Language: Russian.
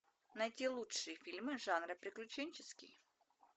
найти лучшие фильмы жанра приключенческий